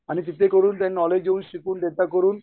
आणि तिथे करून ते नॉलेज घेऊन शिकून त्यांच्याकडे